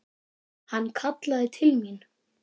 Hann kallaði til mín.